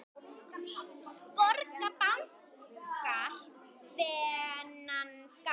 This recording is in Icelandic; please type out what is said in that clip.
Borga bankar þennan skatt?